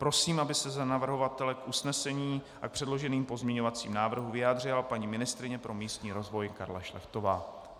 Prosím, aby se za navrhovatele k usnesení a k předloženým pozměňovacím návrhům vyjádřila paní ministryně pro místní rozvoj Karla Šlechtová.